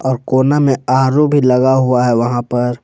और कोना में आर_ओ भी लगा हुआ है वहां पर।